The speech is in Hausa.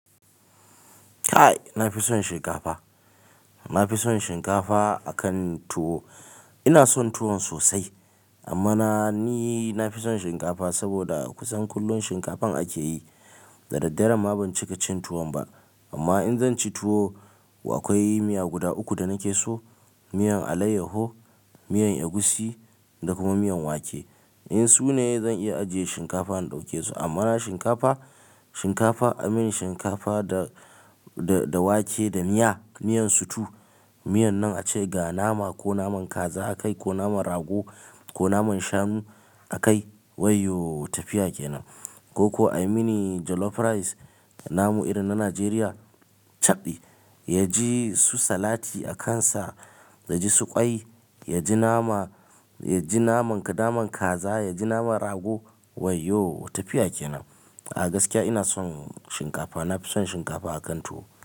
Kai! Na fi son shinkafa. Na fi son shinkafa akan tuwo. Ina son tuwon sosai amma na ni na fi son shinkafa saboda kusan kullum shinkafan ake yi. Da daddare ma ban cika cin tuwon ba. Amma in zan ci tuwo, akwai miya guda uku da nake so. Miyan alayyaho, miyan egusi da kuma miyan wake. In su ne zan iya ajiye shinkafa na ɗauke su. Amma na shinkafa, shinkafa a mini shinkafa da, da, da wake da miya, miyan sutu. Miyan nan a ce ga nama ko naman kaza a kai ko naman rago ko naman shanu a kai. Waiyooo tafiya kenan. Ko ko a mini jollof rice da namu irin na Najeriya. Caɓɗi. Ya ji su salati a kansa, ya ji su ƙwai, ya ji nama, ya ji naman ka naman kaza, ya ji naman rago. Waiyo tafiya kenan. A gaskiya ina son shinkafa. Na fi son shinkafa akan tuwo.